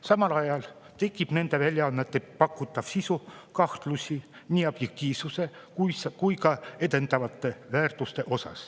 Samal ajal seab nende väljaannete pakutav sisu kahtluse alla nii objektiivsuse kui ka edendatavad väärtused.